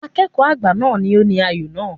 Akẹ́kọ̀ọ́ àgbà náà ni ó ní ayò náà.